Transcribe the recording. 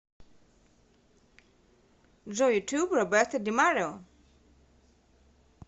джой ютуб роберта ди марио